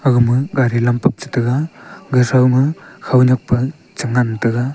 gama gari lampak che tega ga tho ma khaunyak pa che ngan tega.